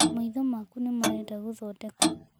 Maitho maku nĩ marenda gũthondekwo.